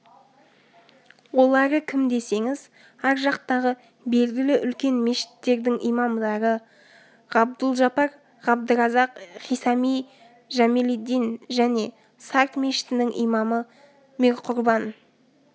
олары кім десеңіз ар жақтағы белгілі үлкен мешіттердің имамдары ғабдұлжапар ғабдыразақ хисами жәмелиддин және сарт мешітінің имамы мирқұрбан